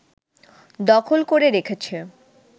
দখল করে রেখেছে